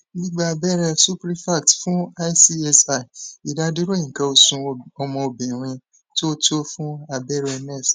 gbigba abẹrẹ suprefact fun icsi idaduro ikan osu omo obirin to to fun abẹrẹ nest